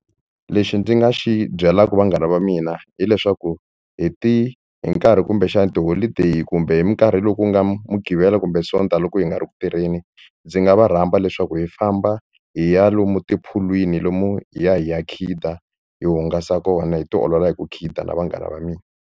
Lexi ndzi nga xi byelaka vanghana va mina hileswaku hi ti hi nkarhi kumbexana tiholideyi kumbe hi minkarhi loku nga mudqivela kumbe sonta loko hi nga ri ku tirheni ndzi nga va rhamba leswaku hi famba hi ya lomu tiphulwini lomu hi ya hi ya khida hi hungasa kona hi tiolola hi ku khida na vanghana va mina.